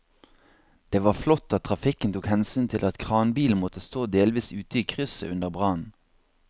Det var flott at trafikken tok hensyn til at kranbilen måtte stå delvis ute i krysset under brannen.